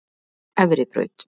Efribraut